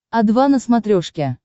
о два на смотрешке